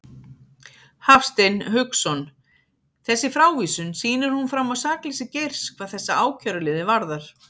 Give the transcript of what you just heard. Hafstein Hauksson: Þessi frávísun, sýnir hún fram á sakleysi Geirs hvað þessa ákæruliði varðar?